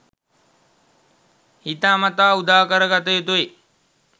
හිතාමතා උදාකරගත යුතුයි